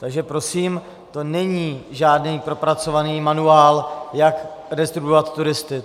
Takže prosím, to není žádný propracovaný manuál, jak redistribuovat turisty.